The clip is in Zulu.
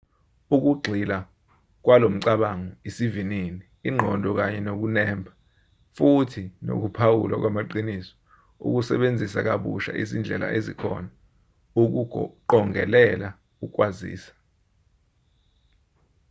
ukugxila kwalomcabango isivinini ingqondo kanye nokunemba futhi nokuphawulwa kwamaqinisio ukusebenzisa kabusha izindlela ezikhona ukuqongelela ukwaziswa